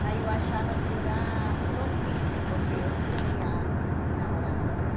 Mas eu achava que era só físico, que eu não queria se enamorar com ele.